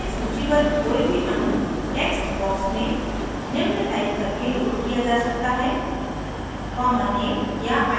database में सूचीबद्ध कोई भी अणु text box में निम्न टाइप करके लोड किया जा सकता है: